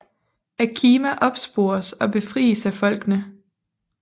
Akima opspores og befries af folkene